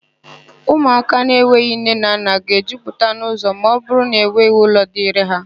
Ụmụaka na-enweghị nne na nna ga-ejupụta n'ụ́zọ̀ ma ọbụrụ na enweghị ụlọ dịịrị ha.